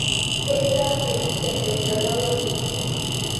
kejaa enjkijape tena wiki